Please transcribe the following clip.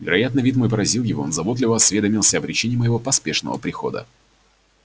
вероятно вид мой поразил его он заботливо осведомился о причине моего поспешного прихода